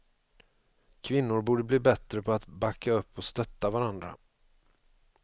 Kvinnor borde bli bättre på att backa upp och stötta varandra.